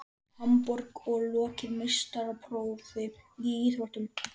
Hamborg og lokið meistaraprófi í íþróttinni.